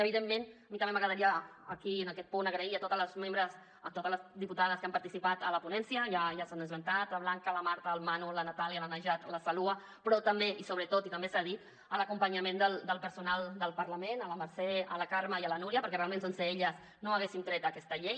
evidentment a mi també m’agradaria aquí en aquest punt agrair a totes les membres a totes les diputades que han participat en la ponència ja s’han esmentat la blanca la marta el manu la natàlia la najat la saloua però també i sobretot i també s’ha dit a l’acompanyament del personal del parlament a la mercè a la carme i a la núria perquè realment sense elles no haguéssim tret aquesta llei